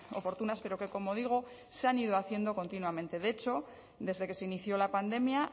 oportunas pero que como digo se han ido haciendo continuamente de hecho desde que se inició la pandemia